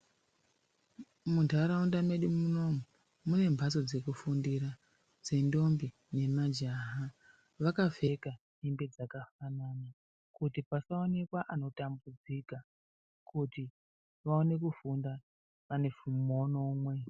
Muntaraunda medu munomu, mune mhatso dzeku fundira dzendombi nemajaha, vakapfeka hembe dzakafanana , kuti pasaonekwa anotambudzika, kuti vaone kufunda vane muono umwe.